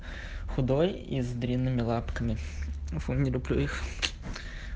худой и с длинными лапками фу не люблю их